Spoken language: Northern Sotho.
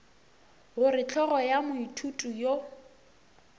gore hlogo ya moithuti yo